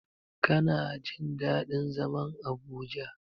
Kina jin daɗin zaman Abuja.